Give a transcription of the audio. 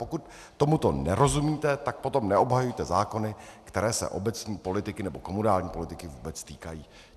Pokud tomuto nerozumíte, tak potom neobhajujte zákony, které se obecní politiky nebo komunální politiky vůbec týkají.